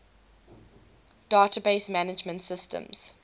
database management systems